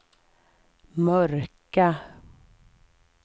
mörka